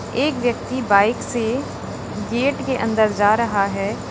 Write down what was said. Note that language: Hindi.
एक व्यक्ति बाइक से गेट के अंदर जा रहा है।